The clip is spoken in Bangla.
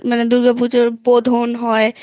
দুর্গাপুজোতে বোধন হয়